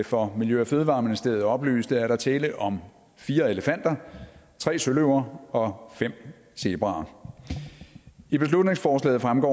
for miljø og fødevareministeriet oplyste er der tale om fire elefanter tre søløver og fem zebraer i beslutningsforslaget fremgår